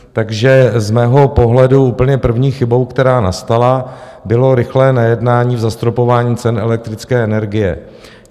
Takže z mého pohledu úplně první chybou, která nastala, bylo rychlé nejednání v zastropování cen elektrické energie.